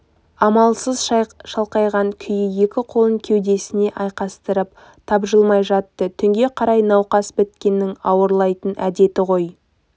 амалсыз шалқалаған күй екі қолын кеудесіне айқастырып тапжылмай жатты түнге қарай науқас біткеннің ауырлайтын әдеті ғой